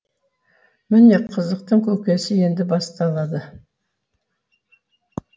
міне қызықтың көкесі енді басталды